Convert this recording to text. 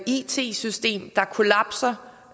it system der kollapser